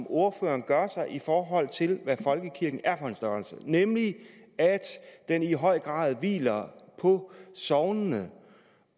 ordføreren gør sig i forhold til hvad folkekirken er for en størrelse nemlig at den i høj grad hviler på sognene